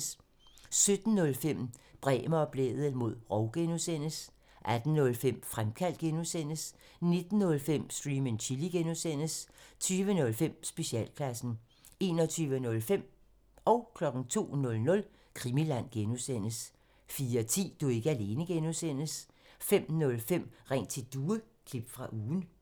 17:05: Bremer og Blædel mod rov (G) 18:05: Fremkaldt (G) 19:05: Stream and Chill (G) 20:05: Specialklassen 21:05: Krimiland (G) 02:00: Krimiland (G) 04:10: Du er ikke alene (G) 05:05: Ring til Due – klip fra ugen